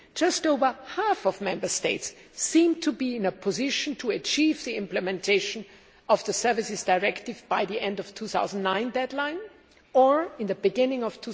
Just over half of Member States seem to be in a position to achieve the implementation of the Services Directive by the end of 2009 deadline or in the beginning of